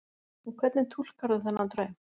Og hvernig túlkarðu þennan draum?